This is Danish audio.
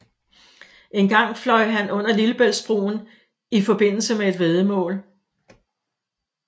Engang fløj han under Lillebæltsbroen i forbindelse med et væddemål